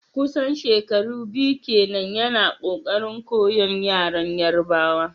kusan shekaru biyu kenan yana kokarin koyon yaren Yarbawa.